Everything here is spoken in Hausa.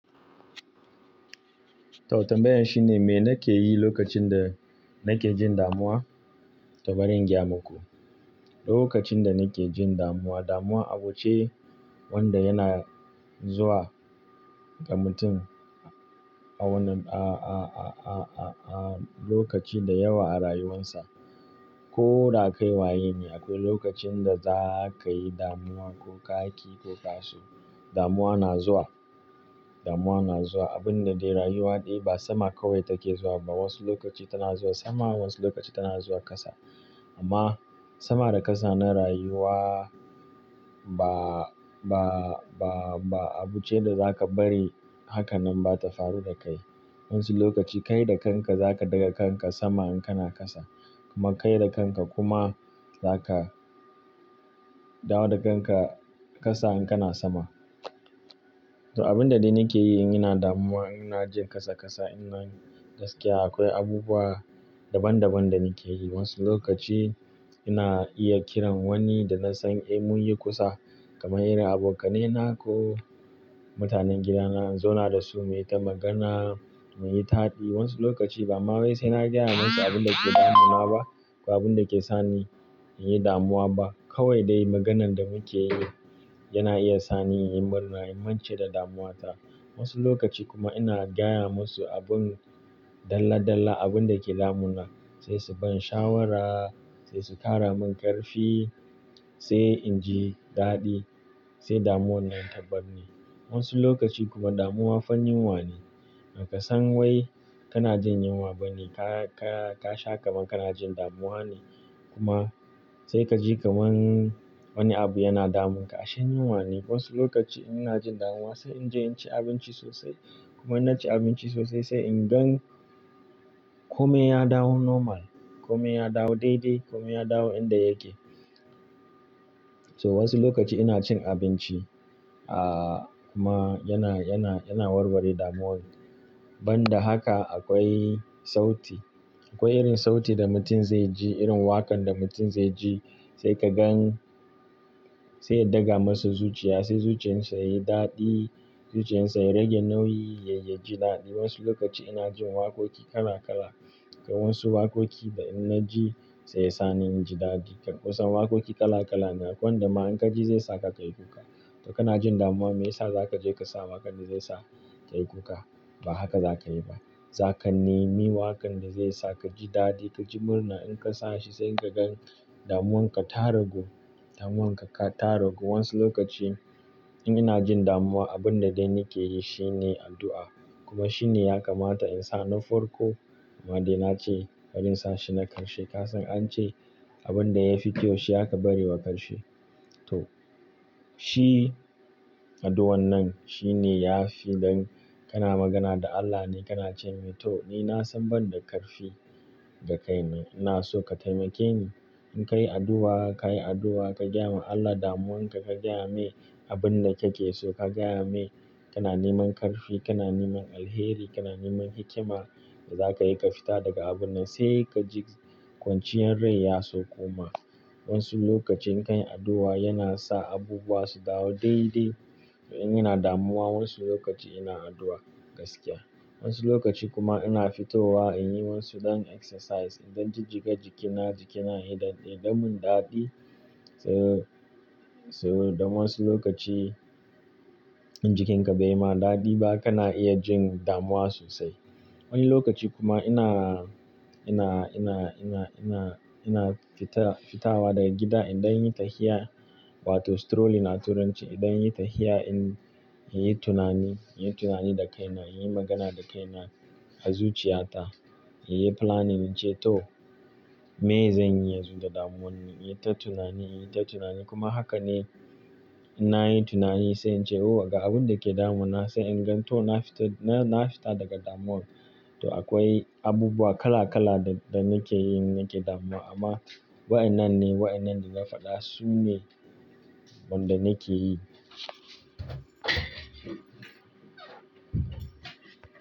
Tau tambayan shine me nake yi lokacin da nake jin damuwa? To bari in gaya muku. Lokacin da nake jin damuwa, damuwa abu ce wanda yana zuwa ga mutum a wannan, a, a, a, a, a, a lokaci da yawa a rayuwarsa. Ko da kai waye ne, akwai lokacin da za ka yi damuwa, ko kaƙi ko kaso. Damuwa na zuwa. Damuwa na zuwa. Abun da dai rayuwa dai ba sama kawai take zuwa ba. Wasu lokaci tana zuwa sama, wasu lokaci tana zuwa ƙasa. Amma sama da ƙasa na rayuwa ba, ba, ba, ba abu ce da za ka bari haka nan ba ta faru da kai. Wasu lokaci kai da kanka za ka ɗaga kanka sama in kana ƙasa. Kuma kai da kanka kuma za ka dawo da kanka ƙasa in kana sama. To abun da dai nake yi in ina damuwa, in na jin ƙasa ƙasa, in na gaskiya akwai abubuwa daban daban da nake yi. Wasu lokaci ina iya kiran wani da na san, "Eh mun yi kusa." Kamar irin abokanai na ko mutanen gidana in zauna da su mu yi ta magana, mu yi taɗi. Wasu lokaci bama wai sai na gaya musu abin da ke damuna ba, ko abin da ke sani in yi damuwa ba. Kawai dai maganan da muke yi yana iya sani in yi murna, in mance da damuwa ta. Wasu lokaci kuma ina gaya musu abin dalla dalla, abin da ke damuna. Sai su ban shawara, sai su kara min ƙarfi, sai in ji daɗi, sai damuwan nan tabar ni. Wasu lokaci kuma damuwa fa yunwa ne. Kasan wai kana jin yunwa ba ne, ka, ka, ka sha kamar kana jin damuwa ne. Kuma sai ka ji kamar wani abu yana damunka, ashe yunwa ne. Wasu lokaci ina jin damuwa sai in je in ci abinci sosai. Kuma in na ci abinci sosai sai in gan kome ya dawo normal, kome ya dawo daidai, kome ya dawo inda yake. To wasu lokaci ina cin abinci, a, amma yana, yana, yana warware damuwan. Ban da haka akwai sauti. Akwai irin sauti da mutum zai ji, irin waƙan da mutum zai ji sai ka gan sai ya daga masa zuciya, sai zuciyar sa yayi daɗi, zuciyar sa ya rage nauyi, ya yi ya ji daɗi. Wasu lokaci ina jin waƙoƙi kala kala. Kai wasu waƙoƙi da inna ji sai ya sani in ji daɗi. Kusan waƙoƙi kala kala ne, akwai wanda ma in kaji zai sa ka kai kuka. To kana jin damuwa me yasa za ka je ka sa waƙan da zai sa ka yi kuka? Ba haka za ka yi ba. Za ka nemi waƙan da zai sa ka ji daɗi, ka ji murna in ka sa shi sai ka gan damuwan ka ta ragu. Damuwan ka ta ragu. Wasu lokaci in ina jin damuwa abun da dai nake yi shine addu'a. Kuma shi ne ya kamata in sa na farko. Amma dai na ce bari in sa shi na ƙarshe. Ka san an ce abun da ya fi kyau shi aka bari wa ƙarshe. To shi addu'an nan shi ne ya fi dan kana magana da Allah ne. Kana ce mai "to ni nasan banda ƙarfi da kai na ina so ka taimake ni." In ka yi addu'a, ka yi addu'a, ka gaya ma Allah damuwan ka, ka gaya mai abin da kake so, ka gaya mai kana neman ƙarfi, kana neman alheri, kana neman hikima, za ka yi ka fita daga abun nan sai ka ji kwanciyar rai ya saukuma. Wasu lokaci in ka yi addu'a yana sa abubuwa su dawo daidai. In ina damuwa wasu lokaci ina addu'a gaskiya. Wasu lokaci kuma ina fitowa in yi wasu ɗan exercise. In don jijjiga jikina, jikina yayi ɗan yaɗammun daɗi. So, so don wasu lokaci in jikinka bai ma daɗi ba kana iya jin damuwa sosai. Wani lokaci kuma ina, ina, ina, ina, ina, ina fita, fitawa daga gida in ɗan yi tafiya wato strolling a Turanci. In ɗan yi tafiya in, in yi tunani, in yi tunani da kaina, in yi magana da kaina a zuciyata. In yi planning in ce "to miye zan yi yanzu da damuwan ni?" In yi ta tunani, in yi ta tunani kuma haka ne inna yin tunani sai in ce "Oh ga abun da ke damun na." Sai in gan "to na fita, na, na fita daga damuwan." To akwai abubuwa kala kala da, da nake yi in nake damuwa. Amma wa'inan ne, wa'inan dana faɗa su ne wanda nake yi.